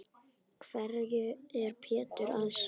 Hverju er Pétur að skrökva?